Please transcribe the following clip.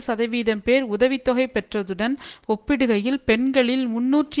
சதவீதம் பேர் உதவி தொகை பெற்றதுடன் ஒப்பிடுகையில் பெண்களில் முன்னூற்று